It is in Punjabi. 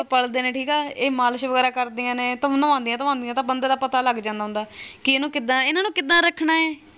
ਪਲਦੇ ਨੇ ਠੀਕ ਆ ਇਹ ਮਾਲਿਸ਼ ਵਗੈਰਾ ਕਰਦੀਆਂ ਨੇ ਤੁਹਾਨੂੰ ਨੁਆਧੀਆਂ ਤੁਆਧੀਆਂ ਤੇ ਬੰਦੇ ਦਾ ਪਤਾ ਲੱਗ ਜਾਂਦਾ ਹੁੰਦਾ ਹੈ ਕਿ ਏਨੂੰ ਕਿੱਦਾਂ ਇਨ੍ਹਾਂ ਨੂੰ ਕਿਦਾ ਰਖਣਾ ਹੈ।